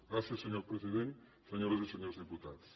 gràcies senyor president senyores i senyors diputats